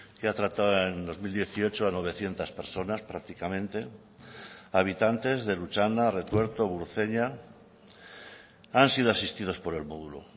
que ha tratado en dos mil dieciocho a novecientos personas prácticamente habitantes del lutxana retuerto burceña han sido asistidos por el módulo